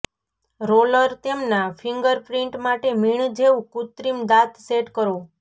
roller તેમના fingerprint માટે મીણ જેવું કૃત્રિમ દાંત સેટ કરો